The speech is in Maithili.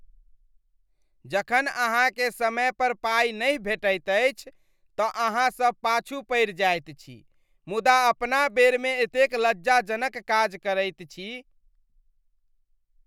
जखन अहाँकेँ समय पर पाइ नहि भेटैत अछि तँ अहाँसब पाछू पड़ि जाइत छी मुदा अपना बेरमे एतेक लज्जाजनक काज करैत छी।